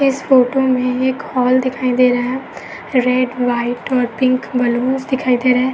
इस फोटो में एक हॉल दिखाई दे रहा है। रेड व्हाइट और पिंक बलूंस दिखाई दे रहे हैं।